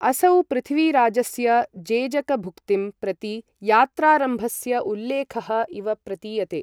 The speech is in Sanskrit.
असौ पृथ्वीराजस्य जेजकभुक्तिं प्रति यात्रारम्भस्य उल्लेखः इव प्रतीयते।